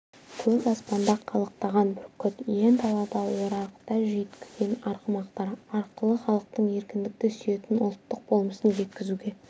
көк аспанда қалықтаған бүркіт иен далада орағыта жүйткіген арғымақтар арқылы халықтың еркіндікті сүйетін ұлттық болмысын жеткізуге